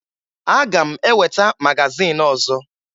Aga m eweta magazin ọzọ